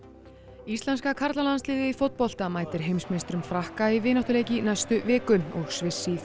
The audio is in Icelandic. íslenska karlalandsliðið í fótbolta mætir heimsmeisturum Frakka í vináttuleik í næstu viku og Sviss í